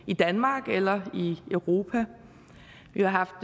i danmark eller i europa vi har